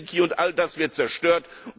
Helsinki und all das wird zerstört.